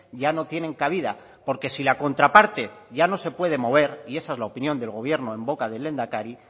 ya no tienen cabida porque si la contraparte ya no se puede mover y esa es la opinión del gobierno en boca del lehendakari